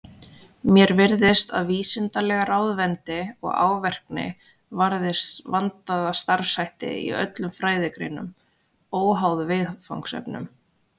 Mér virðist að vísindaleg ráðvendni og árvekni varði vandaða starfshætti í öllum fræðigreinum, óháð viðfangsefnum.